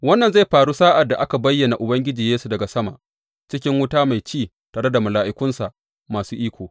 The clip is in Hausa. Wannan zai faru sa’ad da aka bayyana Ubangiji Yesu daga sama cikin wuta mai ci tare da mala’ikunsa masu iko.